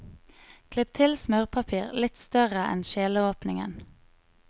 Klipp til smørpapir litt større enn kjeleåpningen.